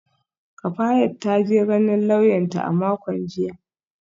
Kafayat ta je ganin lauyanta a makon jiya